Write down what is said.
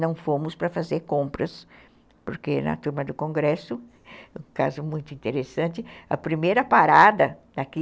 Não fomos para fazer compras, porque na turma do congresso, um caso muito interessante, a primeira parada aqui...